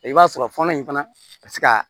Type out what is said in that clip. I b'a sɔrɔ fɔlɔ in fana ka se ka